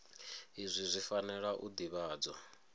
izwi zwi fanela u ḓivhadzwa